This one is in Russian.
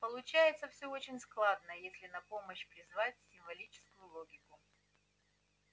получается всё очень складно если на помощь призвать символическую логику